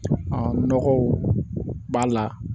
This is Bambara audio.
Ɔ nɔgɔw b'a la